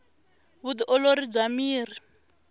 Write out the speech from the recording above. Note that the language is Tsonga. vu ti olori bya miri